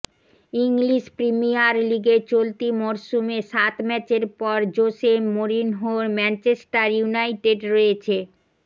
English Premier লিগে চলতি মরসুমে সাত ম্যাচের পর জোসে মোরিনহোর ম্যাঞ্চেস্টার ইউনাইটেড রয়েছে